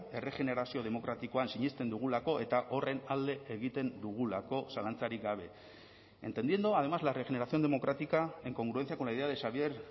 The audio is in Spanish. erregenerazio demokratikoan sinesten dugulako eta horren alde egiten dugulako zalantzarik gabe entendiendo además la regeneración democrática en congruencia con la idea de xavier